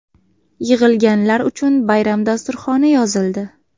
Yig‘ilganlar uchun bayram dasturxoni yozildi.